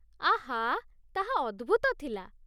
ଆଃ! ତାହା ଅଦ୍ଭୂତ ଥିଲା।